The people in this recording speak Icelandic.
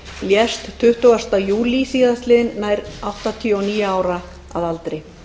lést tuttugasta júlí síðastliðinn nær áttatíu og níu ára að aldri